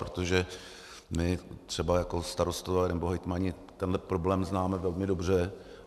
Protože my třeba jako starostové nebo hejtmani tenhle problém známe velmi dobře.